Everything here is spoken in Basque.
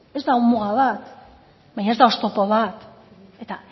ez da muga bat baina ez da oztopo bat eta